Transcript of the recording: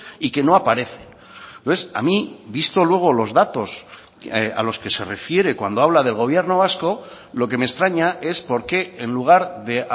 y que no aparecen entonces a mí visto luego los datos a los que se refiere cuando habla del gobierno vasco lo que me extraña es porque en lugar de